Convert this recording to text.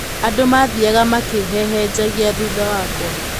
Andũ maathiaga makĩhehenjagia thutha wakwa.